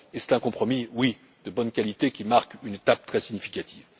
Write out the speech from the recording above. c'est un compromis de bonne qualité, qui marque une étape très significative.